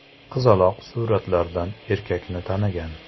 Qizaloq suratlardan erkakni tanigan.